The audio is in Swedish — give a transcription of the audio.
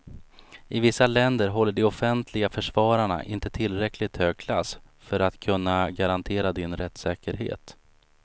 I vissa länder håller de offentliga försvararna inte tillräckligt hög klass för att kunna garantera din rättssäkerhet.